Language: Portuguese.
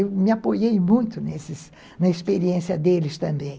Eu me apoiei muito na experiência deles também.